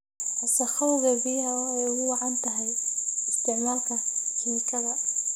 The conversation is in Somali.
Wasakhowga biyaha oo ay ugu wacan tahay isticmaalka kiimikada.